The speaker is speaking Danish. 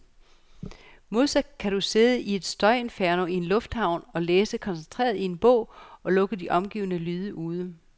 Modsat kan du sidde i et støjinferno i en lufthavn og læse koncentreret i en bog, og lukke de omgivende lyde ude.